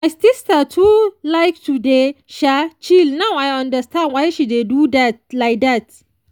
my sister too like to dey um chill now i understand why she dey do that like that.